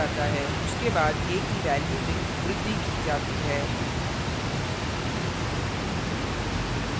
उसके बाद a की value में वृद्धि की जाती है